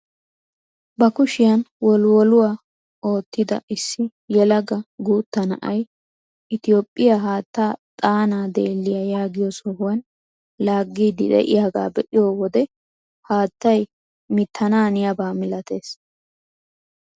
Ba kushiyaan wolwoluwaa oottida issi yelaga guutta na'ay itoophphiyaa haattaa xaana deelliyaa yaagiyoo sohuwaan laaggiidi de'iyaagaa be'iyoo wode haattay mittananiyaaba milatees!